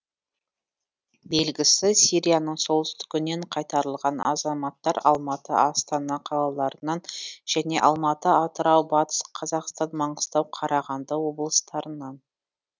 белгілісі сирияның солтүстігінен қайтарылған азаматтар алматы астана қалаларынан және алматы атырау батыс қазақстан маңғыстау қарағанды облыстарынан